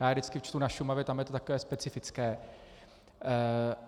Já je vždycky čtu na Šumavě, tam je to takové specifické.